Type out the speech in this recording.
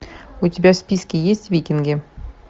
у тебя в списке есть викинги